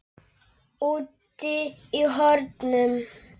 Úti í hornum.